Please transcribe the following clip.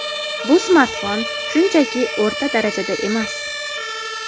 Bu smartfon shunchaki o‘rta darajada emas.